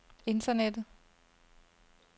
internettet